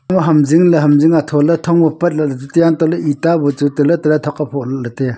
uh hamjing ley hamjing atholey thongley hantohley eta bu chu taley taley thok aphok ley taiaa.